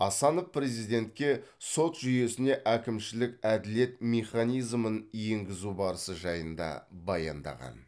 асанов президентке сот жүйесіне әкімшілік әділет механизмін енгізу барысы жайында баяндаған